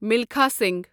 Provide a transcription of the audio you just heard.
Milkha Singh